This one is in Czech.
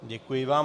Děkuji vám.